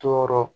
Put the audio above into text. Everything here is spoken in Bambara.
Tɔɔrɔ